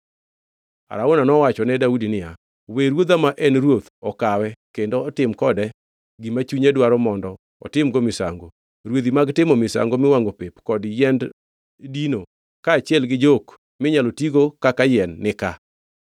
Arauna nowacho ne Daudi niya, “We ruodha ma en ruoth okawe kendo otim kode gima chunye dwaro mondo otimgo misango. Rwedhi mag timo misango miwangʼo pep kod yiend dino kaachiel gi jok minyalo tigo kaka yien nika.